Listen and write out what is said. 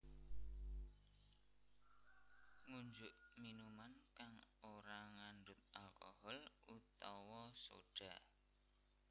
Ngunjuk minuman kang ora ngandhut alcohol utawa soda